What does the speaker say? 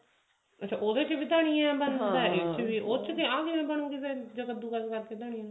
ਅੱਛਾ ਉਹਦੇ ਚ ਵੀ ਧਨੀਆ ਚ ਆਹ ਕਿਵੇਂ ਬਣੁਗੀ ਫ਼ੇਰ ਕੱਦੂ ਕਾਸ ਕਰਕੇ ਧਨੀਏ ਨੂੰ